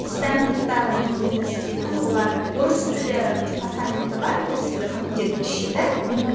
стэнфордтағы менің университетім олар орыс тілі департаменті бар орыс тілі факультеті бізше да аха